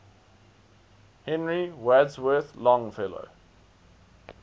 henry wadsworth longfellow